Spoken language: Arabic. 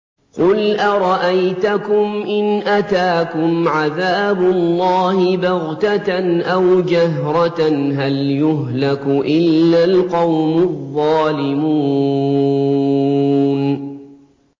قُلْ أَرَأَيْتَكُمْ إِنْ أَتَاكُمْ عَذَابُ اللَّهِ بَغْتَةً أَوْ جَهْرَةً هَلْ يُهْلَكُ إِلَّا الْقَوْمُ الظَّالِمُونَ